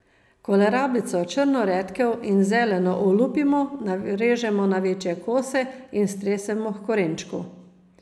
Kolerabico, črno redkev in zeleno olupimo, narežemo na večje kose in stresemo h korenčku.